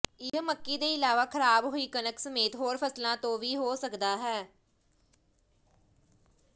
ਇਹ ਮੱਕੀ ਦੇ ਇਲਾਵਾ ਖ਼ਰਾਬ ਹੋਈ ਕਣਕ ਸਮੇਤ ਹੋਰ ਫਸਲਾਂ ਤੋਂ ਵੀ ਸਕਦਾ ਹੈ